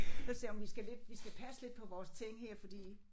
Så sagde hun vi skal lidt vi skal passe lidt på vores ting her fordi